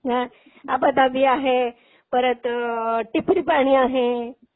अ आबाधाबी आहे. परत टिपरी पाणी आहे.